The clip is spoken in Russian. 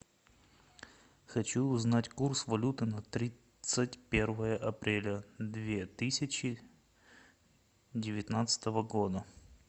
хочу узнать курс валюты на тридцать первое апреля две тысячи девятнадцатого года